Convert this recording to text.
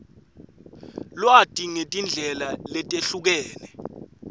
lwati ngetindlela letehlukene